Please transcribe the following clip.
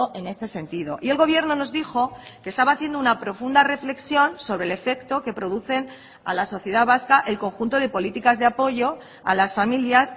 en este sentido y el gobierno nos dijo que estaba haciendo una profunda reflexión sobre el efecto que producen a la sociedad vasca el conjunto de políticas de apoyo a las familias